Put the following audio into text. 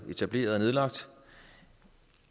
etableret og nedlagt